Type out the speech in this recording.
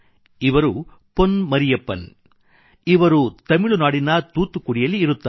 ಇವರು ಪೊನ್ ಮರಿಯಪ್ಪನ್ ಇವರು ತಮಿಳುನಾಡಿನ ತೂತ್ತುಕುಡಿಯಲ್ಲಿ ಇರುತ್ತಾರೆ